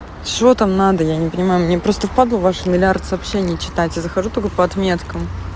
чего там надо я не понимаю мне просто впадлу ваш миллиард сообщений читать я захожу только по отметкам